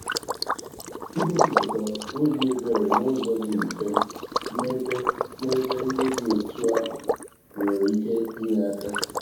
ịgosipụta obi ebere n'ụzọ dị mfe n'ébé n'ébé ndị dị otú ahụ nwere ike inye aka